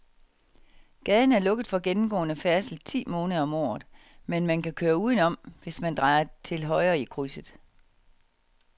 Gaden er lukket for gennemgående færdsel ti måneder om året, men man kan køre udenom, hvis man drejer til højre i krydset.